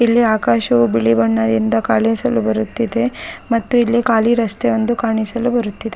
ಇಲ್ಲಿ ಆಕಾಶವು ಬಿಳಿ ಬಣ್ಣದಿಂದ ಕಾಣಿಸಲು ಬರುತ್ತಿದೆ ಮತ್ತು ಇಲ್ಲಿ ಖಾಲಿ ರಸ್ತೆಯೊಂದು ಕಾಣಿಸಲು ಬರುತ್ತಿದೆ. .